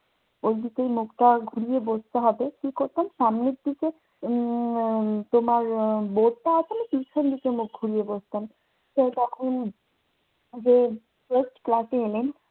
ঐদিকেই মুখটা ঘুরিয়ে বসতে হবে। কি করতাম সামনের দিকে উম তোমার board টা আছে না পিছনদিকে মুখ ঘুরিয়ে বসতাম। তো তখন যে class এ এলেন।